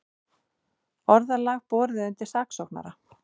Orðalag borið undir saksóknara